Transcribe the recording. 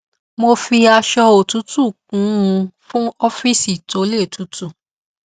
mo fi aṣọ òtútù kun un fún ọfíìsì tó le tutu